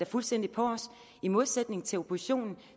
fuldstændig på os i modsætning til oppositionen